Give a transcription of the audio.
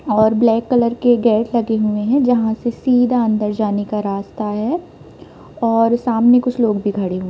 और black colour के gate लगे हुए हैं जहाँ से सीधा अंदर जाने का रास्ता है और सामने कुछ लोग भी खड़े हैं।